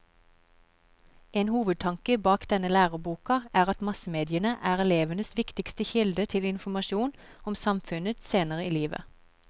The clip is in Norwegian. En hovedtanke bak denne læreboka er at massemediene er elevenes viktigste kilde til informasjon om samfunnet senere i livet.